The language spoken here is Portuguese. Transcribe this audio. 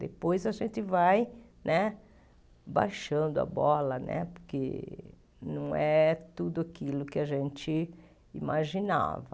Depois a gente vai né baixando a bola, né porque não é tudo aquilo que a gente imaginava.